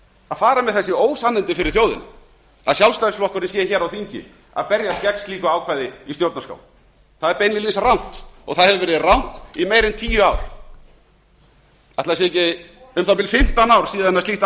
að fara með þessi ósannindi fyrir þjóðina að sjálfstæðisflokkurinn sé hér á þingi að berjast gegn slíku ákvæði í stjórnarskrá það er beinlínis rangt og það hefur verið rangt í meira en tíu ár ætli það séu ekki um það bil fimmtán ár síðan slíkt